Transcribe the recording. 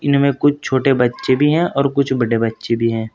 कुछ छोटे बच्चे भी हैं और कुछ बड़े बच्चे भी हैं।